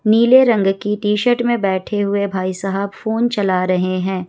नीले रंग की टी-शर्ट में बैठे हुए हैं भाईसाहब फोन चला रहे हैं।